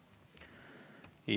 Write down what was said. Aitäh!